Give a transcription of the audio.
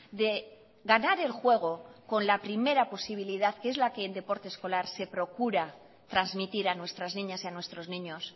de ganar el juego con la primera posibilidad que es la que en deporte escolar se procura transmitir a nuestras niñas y a nuestros niños